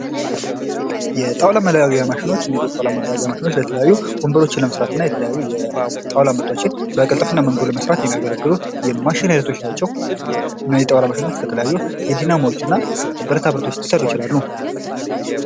የጣውላ መለያያ ማሽኖች የተለያዩ ወንበሮችን ለመስራትና የተለያዩ የጣውላ ምርቶችን በቅልጥፍና መንገድ ለመስራት የሚያገለግሉ የማሽን አይነቶች ናቸው። እነዚህ የጣውላ ማሽኖች የተለያዩ የዲናሞዎችና ብረታብረቶች ሊሰሩ ይችላሉ።